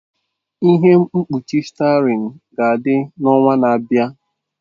Ihe mkpuchi steering ga-adị n'ọnwa na-abịa.